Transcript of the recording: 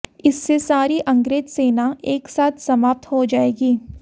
इससे सारी अंग्रेज सेना एक साथ समाप्त हो जाएगी